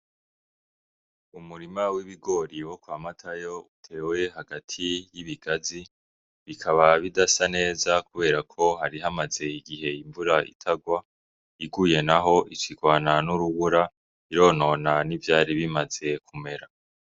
Umurima w'ibigori wo kwa matayo utewe hagati y'ibigazi, bikaba bidasa neza kubera ko hari hamaze igihe imvura itagwa iguye naho ica igwana n'urubura ironona n'ivyari bimaze kumera.